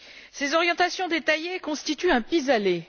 Ces orientations détaillées constituent un pis aller.